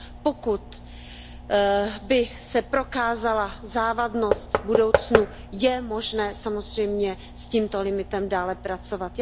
Pokud by se prokázala závadnost v budoucnu, je možné samozřejmě s tímto limitem dále pracovat.